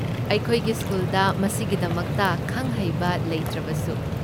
ꯑꯩꯈꯣꯏꯒꯤ ꯁ꯭ꯀꯨꯜꯗ ꯃꯁꯤꯒꯤꯗꯃꯛꯇ ꯈꯪ ꯍꯩꯕ ꯂꯩꯇ꯭ꯔꯕꯁꯨ꯫